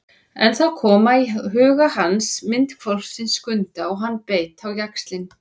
En þá kom í huga hans mynd hvolpsins Skunda og hann beit á jaxlinn.